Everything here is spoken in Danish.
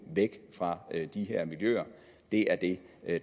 væk fra de her miljøer det er det